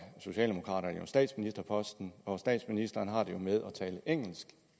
socialdemokraterne jo statsministerposten og statsministeren har det med at tale engelsk